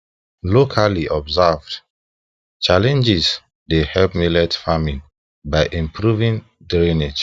locally observed challenges dey help millet farming by improving drainage